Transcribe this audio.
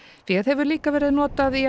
féð hefur líka verið notað í